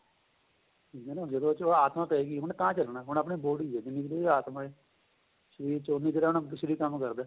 ਠੀਕ ਏ ਨਾ ਜਦੋਂ ਉਹਦੇ ਚ ਆਤਮਾਂ ਪਹੇਗੀ ਉਹਨੇ ਤਾਂ ਚੱਲਣਾ ਹੁਣ ਆਪਣੇਂ body ਏ ਜਿੰਨੀ ਕ਼ ਦੇਰ ਆਤਮਾਂ ਏ ਸ਼ਰੀਰ ਚ ਉਹਨੀ ਦੇਰ ਸ਼ਰੀਰ ਕੰਮ ਕਰਦਾ